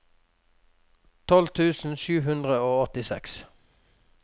tolv tusen sju hundre og åttiseks